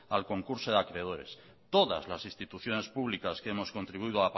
al concurso de acreedores todas las instituciones pública que hemos contribuido